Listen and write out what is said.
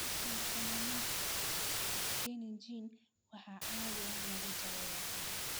Schwannomas benign waxaa caadi ahaan lagu daaweeyaa qaliin.